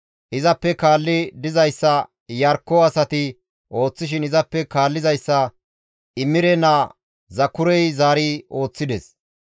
Izappe kaalli dizayssa Iyarkko asati ooththishin izappe kaallizayssa Imire naa Zakurey zaari ooththides.